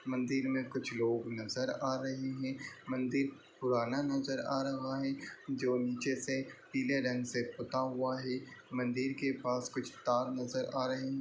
मंदिर में कुछ लोग नजर आ रहे हैं। मंदिर पुराना नजर आ रहा है जो नीचे से पीले रंग से पुता हुआ है। मंदिर के पास कुछ तार नजर आ रहे हैं।